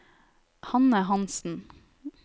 Hanne Hanssen